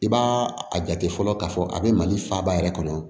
I b'a a jate fɔlɔ k'a fɔ a bɛ mali faaba yɛrɛ kɔnɔ